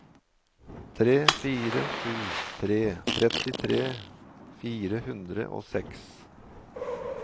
tre fire sju tre trettitre fire hundre og seks